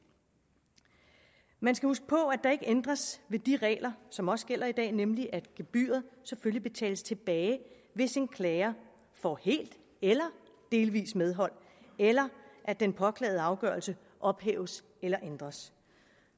man skal huske på at der ikke ændres ved de regler som også gælder i dag nemlig at gebyret selvfølgelig betales tilbage hvis en klager får helt eller delvist medhold eller at den påklagede afgørelse ophæves eller ændres